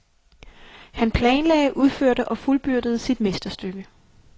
Han planlagde, udførte og fuldbyrdede sit mesterstykke.